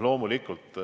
Loomulikult